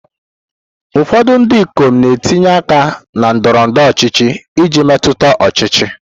Ụfọdụ ndị ikom na-etinye aka na ndọrọ ndọrọ ọchịchị iji metụta ọchịchị.